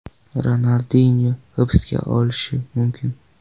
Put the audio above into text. Ronaldinyo hibsga olinishi mumkin.